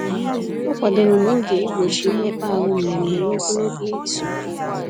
Ọ kwadoro n'oge igbochi mmekpaahụ mmemme n'ogologo izuụka.